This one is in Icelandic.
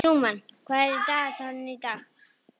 Trúmann, hvað er á dagatalinu í dag?